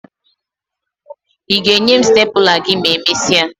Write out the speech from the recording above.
Ị ga-enye m stepụla gị ma emesịa?